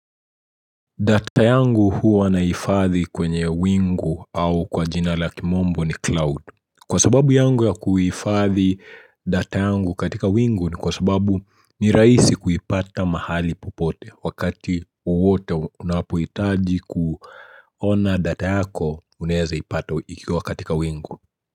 Data yangu huwa nahifadhi kwenye wingu au kwa jina la kimombo ni cloud. Kwa sababu yangu ya kuhifadhi data yangu katika wingu ni kwa sababu ni rahisi kuipata mahali popote wakati wowote unapohitaji kuona data yako unaeza ipata ikiwa katika wingu.